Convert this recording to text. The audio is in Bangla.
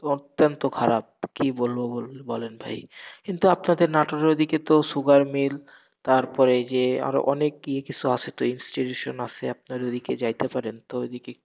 অত্যন্ত খারাপ, কি বলবো বলুন, বলেন ভাই কিন্তু আপনাদের নাটোরের ওদিকে তো sugar mill তারপরে যে আরো অনেক কি, কিসু আসে তো institution আসে, আপনারা ওদিকে যাইতে পারেন,